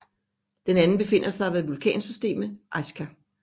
Den anden befinder sig ved vulkansystemet Askja